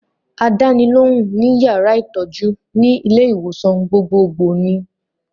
Àdánilóhùn ní yàrá ìtọ́jú ní ilé-ìwòsàn gbogbogbò ni in.